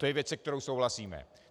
To je věc, se kterou souhlasíme.